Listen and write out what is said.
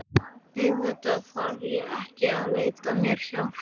Auðvitað þarf ég ekki að leita mér hjálpar.